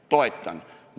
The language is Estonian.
Toetan!